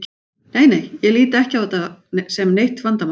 Nei nei, ég lít ekki á þetta sem neitt vandamál.